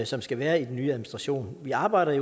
som skal være i den nye administration vi arbejder i